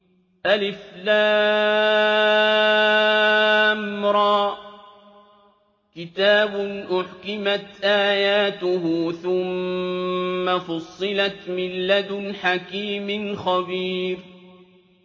الر ۚ كِتَابٌ أُحْكِمَتْ آيَاتُهُ ثُمَّ فُصِّلَتْ مِن لَّدُنْ حَكِيمٍ خَبِيرٍ